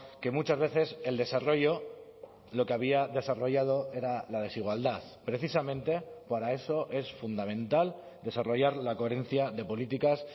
que muchas veces el desarrollo lo que había desarrollado era la desigualdad precisamente para eso es fundamental desarrollar la coherencia de políticas